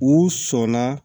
U sɔnna